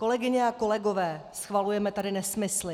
Kolegyně a kolegové, schvalujeme tady nesmysl.